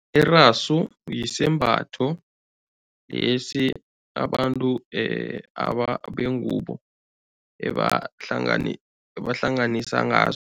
Irasu isembatho lesi abantu abantu bengubo ebahlanganisa ngaso